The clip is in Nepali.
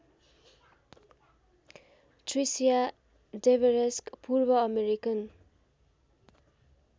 Tricia Devereux पूर्वअमेरिकन